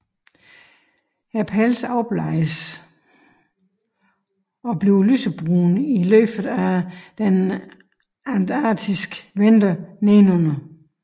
Pelsen afbleges og bliver lysebrun i løbet af den antarktiske vinter nedenunder